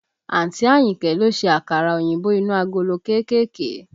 Àǹtí Àyìnkẹ́ ló ṣe àkàrà òyìnbó inú agolo kéékèèké